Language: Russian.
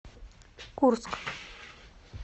курск